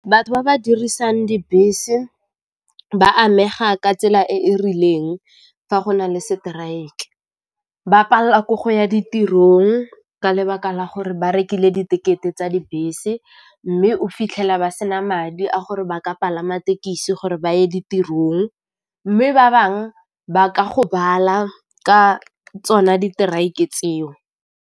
Batho ba ba dirisang dibese ba amega ka tsela e e rileng fa go na le strike, ba palela ko go ya ditirong ka lebaka la gore ba rekile di tekete tsa dibese, mme o fitlhela ba sena madi a gore ba ka palama tekisi gore ba ye ditirong, mme ba bangwe ba ka gobala ka tsona di tseo.